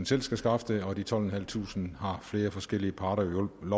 selv skal skaffe det og de tolvtusinde og femhundrede har flere forskellige parter lovet